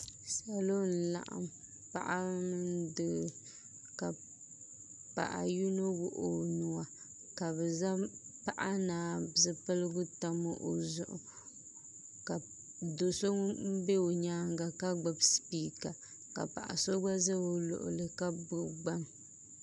Salo n laɣam paɣa mini doo ka paɣa yino wuɣi o nuwa ka bi zaŋ paɣa naa zipiligu tam o zuɣu ka do so ŋun bɛ o nyaanga ka gbubi spiika ka paɣa so ŋun bɛ o nyaanga ka gbubi gbaŋ